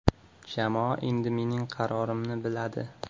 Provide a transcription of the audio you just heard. Jamoa endi mening qarorimni biladi.